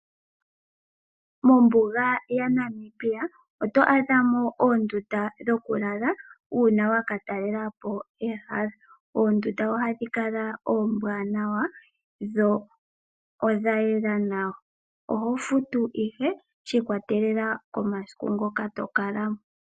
Mombuga ya Namibia oto adhamo Oondundu dhokulala uuna waka talelapo ehala. Oondunda ohadhi kala oombwanawa dho odhayela nawa ohofutu ihe shi ikolelela komasiku ngoka tokalamo.